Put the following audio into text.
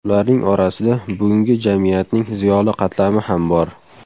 Ularning orasida bugungi jamiyatning ziyoli qatlami ham bor.